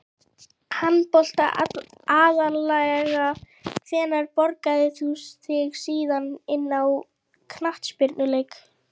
Handbolta aðallega Hvenær borgaðir þú þig síðast inn á knattspyrnuleik?